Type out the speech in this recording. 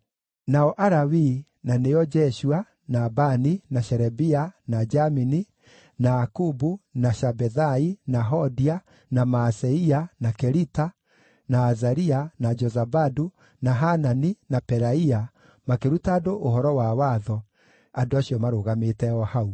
Nao Alawii, na nĩo Jeshua, na Bani, na Sherebia, na Jamini, na Akubu, na Shabethai, na Hodia, na Maaseia, na Kelita, na Azaria, na Jozabadu, na Hanani, na Pelaia, makĩruta andũ ũhoro wa Watho, andũ acio marũgamĩte o hau.